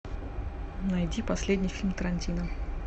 найди последний фильм тарантино